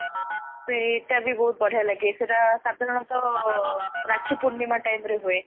ସେଇଟା ବି ବହୁତ ବଢିଆ ଲାଗେ ସେଇଟା ସାଧାରଣତ ରାକ୍ଷୀ ପୁର୍ଣିମା timeରେ ହୁଏ